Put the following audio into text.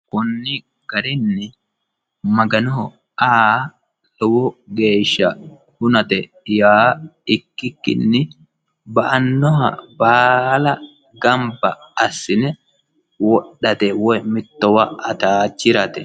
Koni garinni Maganoho aa lowo geeshsha hunate yaa ikkikkinni ba'anoha baalla gamba assine wodhate woyi mittowa woyi atachirate.